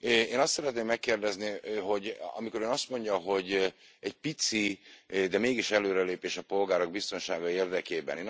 Én azt szeretném megkérdezni, hogy amikor Ön azt mondja, hogy egy pici, de mégis előrelépés a polgárok biztonsága érdekében.